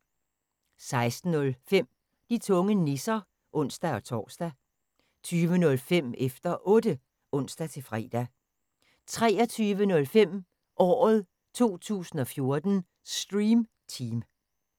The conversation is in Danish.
16:05: De tunge nisser (ons-tor) 20:05: Efter Otte (ons-fre) 23:05: Året 2014: Stream Team